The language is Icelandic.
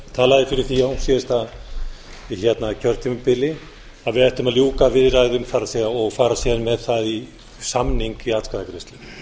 talaði fyrir því á síðasta kjörtímabili að við ættum að ljúka viðræðum og fara síðan með þann samning í atkvæðagreiðslu